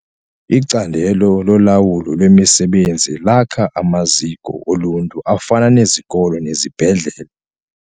Icandelo lolawulo lwemisebenzi lakha amaziko oluntu afana nezikolo nezibhedlele.